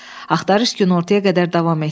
Axtarış günortaya qədər davam etdi.